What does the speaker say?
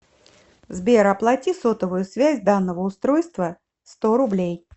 сбер оплати сотовую связь данного устройства сто рублей